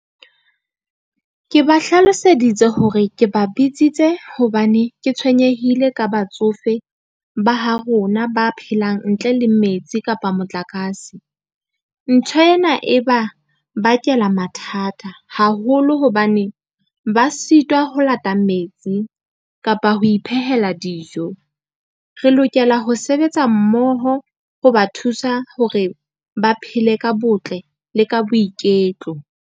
Ke ba hlaloseditse hore ke ba bitsitse hobane ke tshwenyehile ka batsofe, ba ha rona ba phelang ntle le metsi kapa motlakase. Ntho ena e ba bakela mathata haholo hobane, ba sitwa ho lata metsi kapa ho iphehela dijo, re lokela ho sebetsa mmoho ho ba thusa hore ba phele ka botle le ka boiketlo.